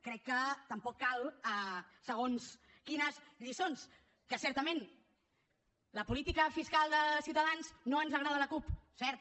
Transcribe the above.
crec que tampoc cal segons quines lliçons que certament la política fiscal de ciutadans no ens agrada a la cup cert